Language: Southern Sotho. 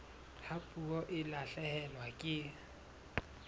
ha puo e lahlehelwa ke